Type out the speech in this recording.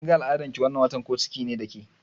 Kin ga al'adan ki wannan watan, ko ciki ne da ke?